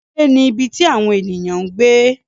Ilé ni ibi tí àwon ènìyàn ń gbé